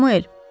Samuel.